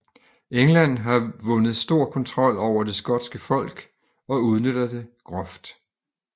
England har vundet stor kontrol over det skotske folk og udnytter det groft